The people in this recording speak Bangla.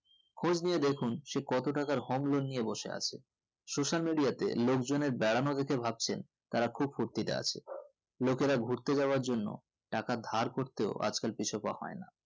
খুঁজে নিয়ে দেখুন সে কতোটাকার home loan নিয়ে বসে আছে social media তে লোকজনের বেড়ানো দেখে ভাবছেন তারা খুব ফুর্তিতে আছেন লোকেরা গুরতে যাওয়ার জন্য টাকা ধার করতেও আজকাল পিছুপা হয় না